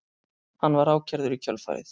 Var hann ákærður í kjölfarið